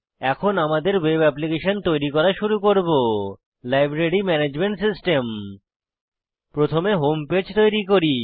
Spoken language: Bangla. এখন আমাদের ওয়েব অ্যাপ্লিকেশন তৈরি করে শুরু করব লাইব্রেরি ম্যানেজমেন্ট সিস্টেম প্রথমে হোম পেজ তৈরি করি